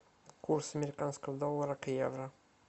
курс американского доллара к евро